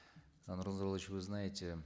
э нурлан зайроллаевич вы знаете